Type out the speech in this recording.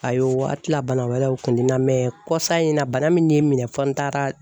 Ayiwa a ti la bana wɛrɛ u kun te n na kɔsa in na bana min ye n minɛ fo n taara